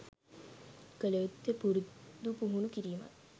කළ යුත්තේ පුරුදු පුහුණු කිරීමයි.